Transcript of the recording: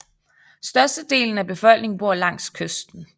Størstedelen af befolkningen bor langs kysten